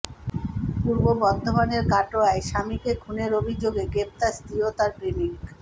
পূর্ব বর্ধমানের কাটোয়ায় স্বামীকে খুনের অভিযোগে গ্রেফতার স্ত্রী ও তাঁর প্রেমিক